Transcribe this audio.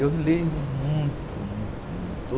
Eu leio muito, muito, muito.